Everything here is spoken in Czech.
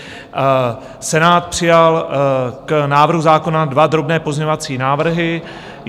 Senát přijal k návrhu zákona dva drobné pozměňovací návrhy.